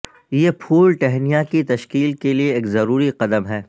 یہ پھول ٹہنیاں کی تشکیل کے لئے ایک ضروری قدم ہے